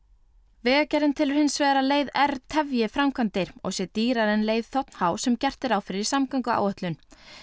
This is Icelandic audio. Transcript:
vegagerðin telur hins vegar að leið r tefji framkvæmdir og sé dýrari en leið þ h sem gert er ráð fyrir í samgönguáætlun